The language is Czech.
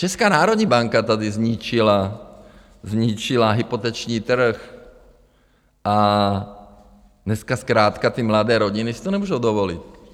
Česká národní banka tady zničila hypoteční trh a dneska zkrátka ty mladé rodiny si to nemůže dovolit.